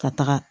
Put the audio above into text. Ka taga